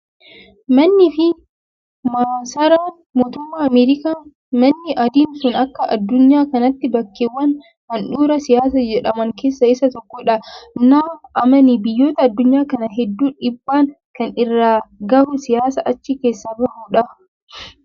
Mannii fi maasaraan mootummaa Ameerikaa manni adiin sun akka addunyaa kanaatti bakkeewwan handhuura siyaasaa jedhaman keessaa isa tokkodha. Na amani biyyoota addunyaa kanaa hedduu dhiibbaa kan irraan gahu siyaasa achi keessaa bahudha.